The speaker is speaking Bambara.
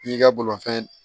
N'i ka bolofɛn